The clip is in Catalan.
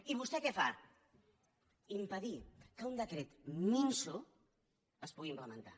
i vostè què fa impedir que un decret minso es pugui implementar